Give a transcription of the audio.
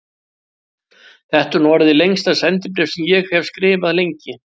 Þetta er nú orðið lengsta sendibréf sem ég hef skrifað lengi.